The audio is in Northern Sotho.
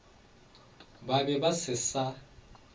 ba be ba se sa